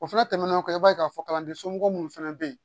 O fana tɛmɛnen kɔ i b'a ye k'a fɔ kalanden somɔgɔ minnu fana bɛ yen